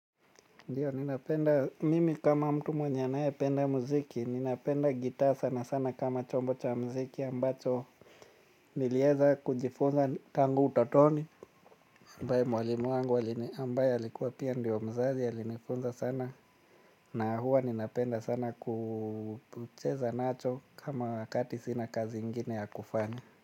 Ndiyo ninapenda, mimi kama mtu mwenye anayependa muziki, ninapenda gitaa sana sana kama chombo cha muziki ambacho nilieza kujifunza tangu utotoni ambaye mwalimu wangu ambaye alikuwa pia ndio mzazi alinifunza sana na huwa ninapenda sana kucheza nacho kama wakati sina kazi ingine ya kufanya.